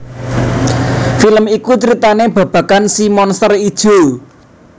Film iku ceritané babagan si Monster Ijo